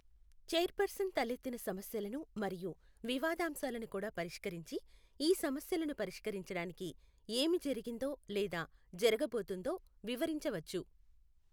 Chairperson తలెత్తిన సమస్యలను మరియు వివాదాంశాలను కూడా పరిష్కరించి, ఈ సమస్యలను పరిష్కరించడానికి ఏమి జరిగిందో లేదా జరుగబోతోందో వివరించవచ్చు.